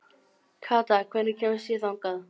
Kata, hvernig kemst ég þangað?